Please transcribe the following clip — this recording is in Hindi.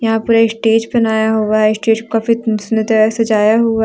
यहां पर एक स्टेज बनाया हुआ है स्टेज को काफी सुंदर तरह से सजाया हुआ है।